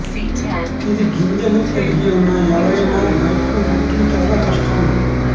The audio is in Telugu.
ఇది గింజలు కలిగి ఉన్న ఎవరైనా బయటకు రెట్లు చాలా కష్టం